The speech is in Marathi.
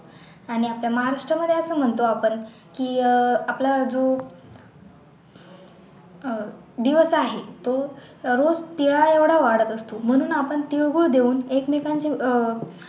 आणि आता महाराष्ट्रामध्ये असं म्हणतो आपण की अह आपला जो अह दिवस आहे तो रोज तीळा एवढा वाढत असतो म्हणून आपण तीळ गूळ देऊन एक मेकांची अह